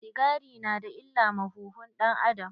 Sigari na da illa ma huhun ɗan-adam.